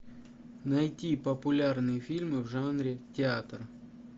найти популярные фильмы в жанре театр